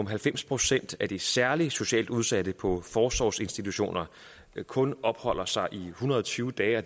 halvfems procent af de særligt socialt udsatte på forsorgsinstitutioner kun opholder sig der i en hundrede og tyve dage og